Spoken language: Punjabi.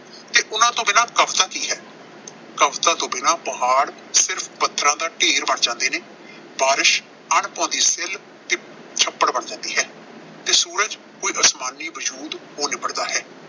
ਤੇ ਉਨ੍ਹਾਂ ਤੋਂ ਬਿਨਾਂ ਕਵਿਤਾ ਕੀ ਹੈ। ਕਵਿਤਾ ਤੋਂ ਬਿਨਾਂ ਪਹਾੜ ਸਿਰਫ਼ ਪੱਥਰਾਂ ਦਾ ਢੇਰ ਬਣ ਜਾਂਦੇ ਨੇ। ਬਾਰਿਸ਼ ਅਣਭਾਉਂਦੀ ਸਿੱਲ ਤੇ ਛੱਪੜ ਬਣ ਜਾਂਦੀ ਹੈ ਤੇ ਸੂਰਜ ਕੋਈ ਅਸਮਾਨੀ ਵਜੂਦ ਹੋ ਨਿੱਬੜਦਾ ਹੈ.